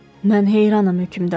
Mən heyranam, hökümdar.